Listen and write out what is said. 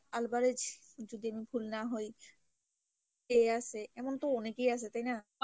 Alvarez যদি আমি ভুল না হয় এই আসে এমন তো অনেকেই আসে তাই না।